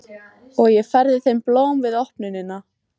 Og ég færði þeim blóm við opnunina.